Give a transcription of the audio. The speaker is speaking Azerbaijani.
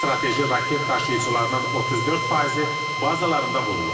Strateji raket daşıyıcılarının 34 faizi bazalarında vurulub.